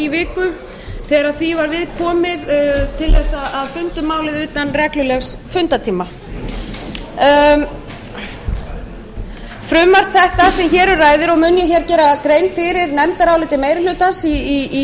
viku þegar því var við komið til þess að funda um málið utan reglulegs fundartíma frumvarp þetta sem hér um ræðir og mun ég gera grein fyrir nefndaráliti meiri hlutans í